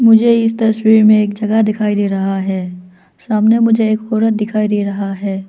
मुझे इस तस्वीर में एक जगह दिखाई दे रहा है सामने मुझे एक औरत दिखाई दे रहा है।